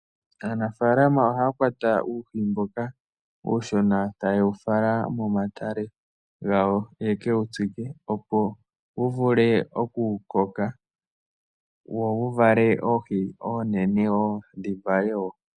Aanafaalama ohaya kwata uuhi mboka uushona eta yewu fala momatale gawo yeke wutsike, opo wu vule Oku koka, wo wu vale oohi oonene woo, dhi vale wo.